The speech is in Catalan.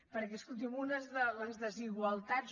perquè escolti’m una de les desigualtats